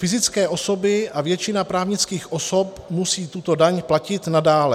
Fyzické osoby a většina právnických osob musí tuto daň platit nadále.